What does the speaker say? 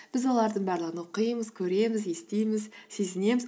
біз олардың барлығын оқимыз көреміз естиміз сезінеміз